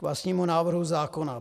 K vlastnímu návrhu zákona.